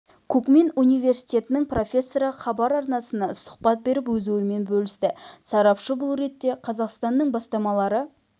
кукмин университетінің профессоры хабар арнасына сұхбат беріп өз ойымен бөлісті сарапшы бұл ретте қазақстанның бастамалары